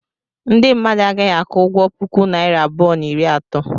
Ndị mmadụ a gaghị aku ụgwọ puku naira abụọ na iri ato.